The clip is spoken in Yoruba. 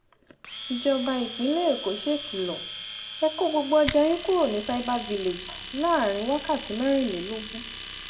ìjọba èkó ṣèkìlọ̀ ẹ kó gbogbo ọjà yín kúrò ní cyber village láàrin wákàtí mẹ́rìnlélógún